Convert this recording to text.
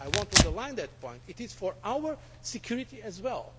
I want to underline that point. It is for our security as well.